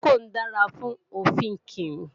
Procold dára fún ọ̀fìnkìn